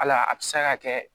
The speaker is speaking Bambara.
Hal'a bi se ka kɛ